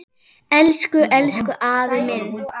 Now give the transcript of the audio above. Elsku, elsku afi minn.